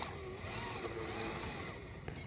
zimmermann